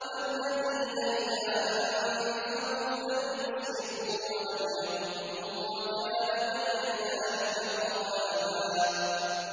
وَالَّذِينَ إِذَا أَنفَقُوا لَمْ يُسْرِفُوا وَلَمْ يَقْتُرُوا وَكَانَ بَيْنَ ذَٰلِكَ قَوَامًا